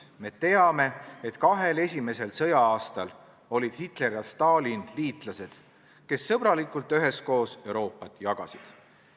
Me teame, et kahel esimesel sõja-aastal olid Hitler ja Stalin liitlased, kes sõbralikult üheskoos Euroopat jagasid.